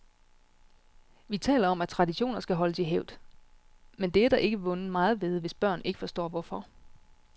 Vi taler om at traditioner skal holdes i hævd, men det er der ikke vundet meget ved, hvis børn ikke forstår hvorfor.